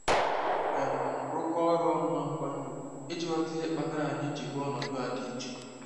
um rụkọọ ọrụ ọnụ na nkwanye ùgwù iji ghọta ihe kpatara anyị ji hụ ọnọdụ a dị iche.